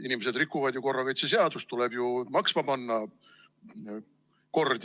Inimesed rikuvad ju korrakaitseseadust, tuleb ju kord maksma panna.